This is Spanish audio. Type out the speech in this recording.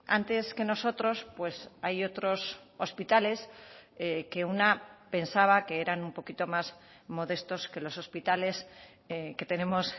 antes que nosotros pues hay otros hospitales que una pensaba que eran un poquito más modestos que los hospitales que tenemos